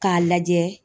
K'a lajɛ